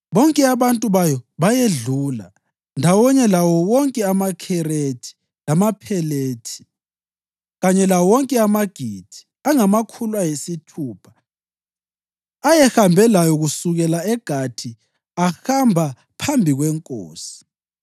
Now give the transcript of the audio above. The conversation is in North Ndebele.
Bonke abantu bayo bayedlula, ndawonye lawo wonke amaKherethi lamaPhelethi, kanye lawo wonke amaGithi angamakhulu ayisithupha ayehambe layo kusukela eGathi ahamba phambi kwenkosi.